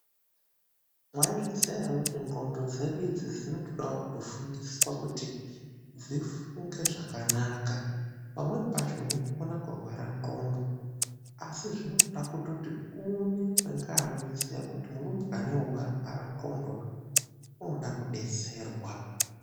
Mwaizviziya ere kuti ndxondo dzedu idzi dzinotodawo kutofundiswa kuti dzifunge zvakanaka. Pamweni pacho unokona kurwara ndxondo, asi zvinotoda kutoti uonekwe ngaanozviziya kuti murumbwanewu warwara ndxondo, unoda kudetserwa.